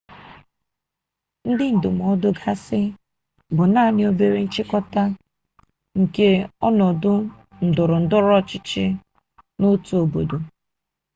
ndị ndụmọdụ gasị bụ naanị obere nchịkọta nke ọnọdụ ndọrọndọrọ ọchịchị n'otu obodo